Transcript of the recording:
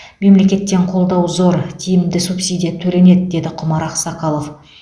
мемлекеттен қолдау зор тиімді субсидия төленеді деді құмар ақсақалов